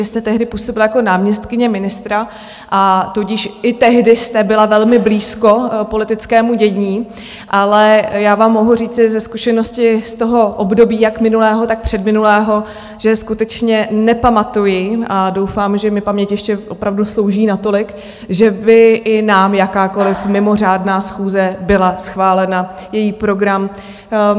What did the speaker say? Vy jste tehdy působila jako náměstkyně ministra, a tudíž i tehdy jste byla velmi blízko politickému dění, ale já vám mohu říci ze zkušenosti z toho období, jak minulého, tak předminulého, že skutečně nepamatuji, a doufám, že mi paměť ještě opravdu slouží natolik, že by i nám jakákoliv mimořádná schůze byla schválena, její program.